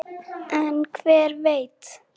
En hver veit!